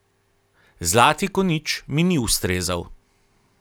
Zlati konjič mi ni ustrezal.